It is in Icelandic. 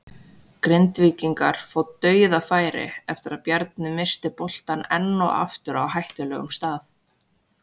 Grindvíkingar fá DAUÐAFÆRI eftir að Bjarni missti boltann enn og aftur á hættulegum stað!